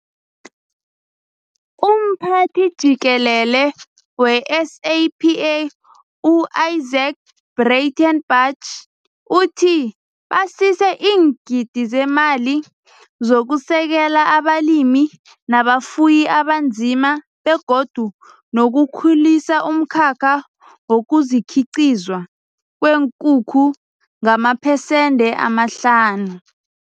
UMphathi Jikelele we-SAPA u-Izaak Breitenbach uthi basise iingidi zemali zokusekela abalimi nabafuyi abanzima begodu nokukhulisa umkhakha wokukhiqizwa kweenkukhu ngamaphesende amahlanu.